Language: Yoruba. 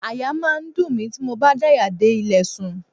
Àyà máa ń dùn mí tí mo bá daya dé ilẹ̀ sùn.